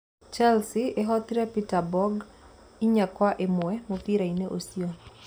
Chelsea ĩhootire Peterborough 4-1 mũbira-inĩ ũcio.